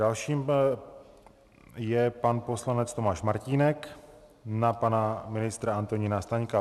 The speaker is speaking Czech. Dalším je pan poslanec Tomáš Martínek na pana ministra Antonína Staňka.